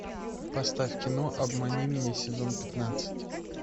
поставь кино обмани меня сезон пятнадцать